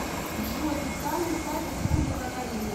джой официальный сайт республика корея